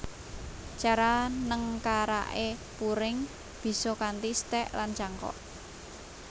Cara nengkaraké puring bisa kanthi stek lan cangkok